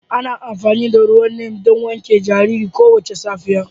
Ana amfani da ruwan Neem don wanke jaririn kowace safiya